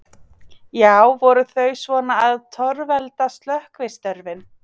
Já, voru þau svona að torvelda slökkvistörfin?